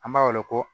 An b'a weele ko